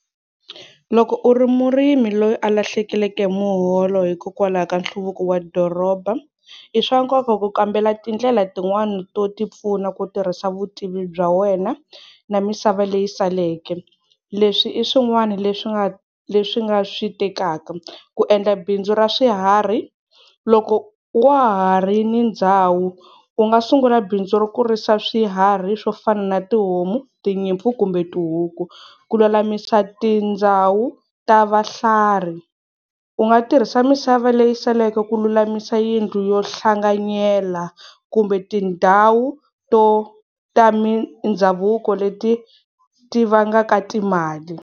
Loko u ri murimi loyi a lahlekeleke hi muholo hikokwalaho ka nhluvuko wa doroba i swa nkoka ku kambela tindlela tin'wani to ti pfuna ku tirhisa vutivi bya wena na misava leyi saleke leswi i swin'wana leswi nga leswi nga swi tekaka, ku endla bindzu ra swiharhi, loko wa ha ri ni ndhawu u nga sungula bindzu ro kurisa swiharhi swo fana na tihomu, tinyimpfu kumbe tihuku, ku lulamisa tindhawu ta vahlari u nga tirhisa misava leyi saleke ku lulamisa yindlu yo hlanganyela kumbe tindhawu to ta mindhavuko leti ti vangaka timali.